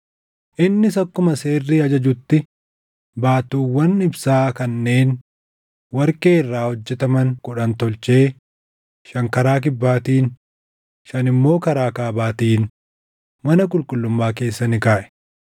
Innis akkuma seerri ajajutti baattuuwwan ibsaa kanneen warqee irraa hojjetaman kudhan tolchee shan karaa kibbaatiin, shan immoo karaa kaabaatiin mana qulqullummaa keessa ni kaaʼe.